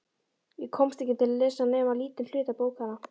Ég komst ekki til að lesa nema lítinn hluta bókanna.